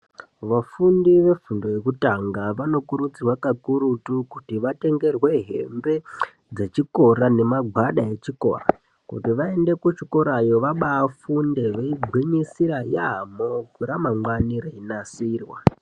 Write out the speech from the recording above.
vafundi vefundo yekutanga vanokurudzirwe kakurutu kuti vatengerwe hembe dzechikora nemagwada echikora kuti vaende kuchikora vaba angwinyisira yaamho kuti ramangwani reinasirwa.